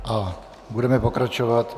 A budeme pokračovat.